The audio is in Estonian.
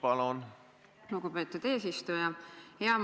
Aitäh, lugupeetud eesistuja!